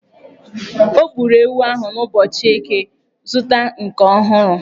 O gburu ewu ahụ n'ụbọchị Eke, zụta nke ọhụrụ!